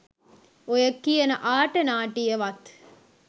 ඔය කියන ආට නාටිය වත්